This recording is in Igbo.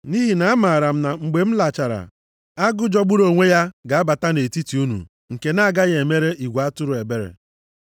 Nʼihi na amaara m na mgbe m lachara, agụ jọgburu onwe ya ga-abata nʼetiti unu nke na-agaghị emere igwe atụrụ ebere.